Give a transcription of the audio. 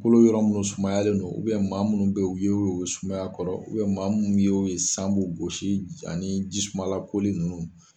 Kolo yɔrɔ minnu sumayalen don maa minnu ye wo ye u bɛ sumaya kɔrɔ maa minnu ye wo ye san b'u gosi ani jisumalakoli ninnu.